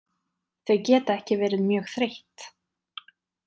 Þau geta ekki verið mjög þreytt.